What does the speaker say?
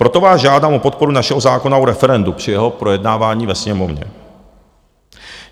Proto vás žádám o podporu našeho zákona o referendu při jeho projednávání ve Sněmovně.